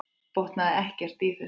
Botnaði ekkert í þessu.